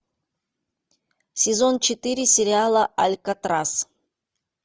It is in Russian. сезон четыре сериала алькатрас